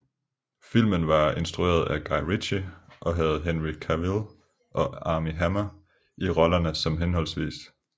Filmen var instrueret af Guy Ritchie og havde Henry Cavill og Armie Hammer i rollerne som hhv